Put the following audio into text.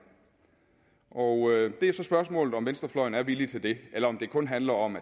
og det er så spørgsmålet om venstrefløjen er villig til det eller om det kun handler om